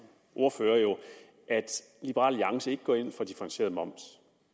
ordfører at liberal alliance ikke går ind for differentieret moms